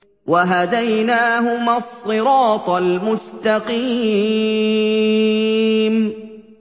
وَهَدَيْنَاهُمَا الصِّرَاطَ الْمُسْتَقِيمَ